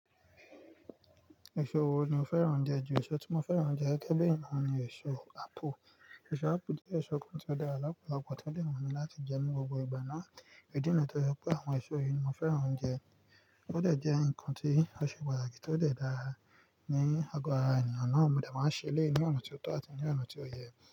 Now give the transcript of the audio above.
Èso wo ni o fẹ́ràn jù? Èso tí mo fẹ́ràn jù gẹ́gẹ́ bí i ènìyàn ni èso ápù. Èso ápù jẹ́ èso kan tí ó dára lọ́pọ̀lọpọ̀, tí ó wumí láti jẹ ní gbogbo ìgbà náà. Ìdí nìyi tó jẹ́ pé àwọn èso yìí mo fẹ́ràn ounjẹ. Ó de jẹ́ nnkan tí ó ṣe pàtàkì, tó de dára ní ago ara ènìyàn náà, mo de máa ń ṣẹ elẹ̀yii ní ọ̀nà tí ó tọ́ àti ní ọ̀nà tí ó yẹ.